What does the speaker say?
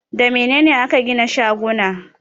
Da mene ne ake gina shaguna?